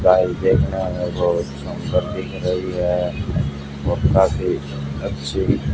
tile देखने में हमें बहुत सुंदर दिख रही है बहुत ही अच्छी--